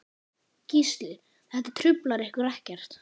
Gísli: Þetta truflar ykkur ekkert?